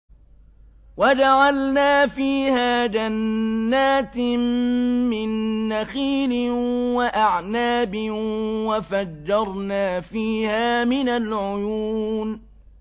وَجَعَلْنَا فِيهَا جَنَّاتٍ مِّن نَّخِيلٍ وَأَعْنَابٍ وَفَجَّرْنَا فِيهَا مِنَ الْعُيُونِ